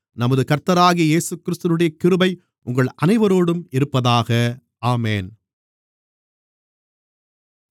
நமது கர்த்தராகிய இயேசுகிறிஸ்துவினுடைய கிருபை உங்கள் அனைவரோடும் இருப்பதாக ஆமென்